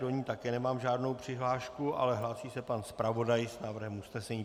Do ní také nemám žádnou přihlášku, ale hlásí se pan zpravodaj s návrhem usnesení.